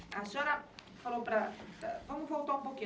A senhora falou para para... Vamos voltar um pouquinho.